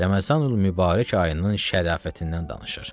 Ramazanül Mübarək ayının şərafətindən danışır.